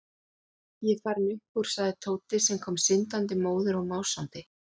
Ég er farinn upp úr sagði Tóti sem kom syndandi, móður og másandi.